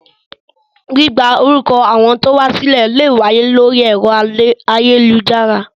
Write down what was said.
Gbígba orúkọ àwọn tí ó wá sílẹ̀ lè wáyé lórí ẹ̀rọ ayélujára